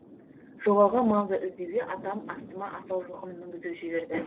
жоғалған малды іздеуге атам астыма асау жылқыны мінгізіп жіберді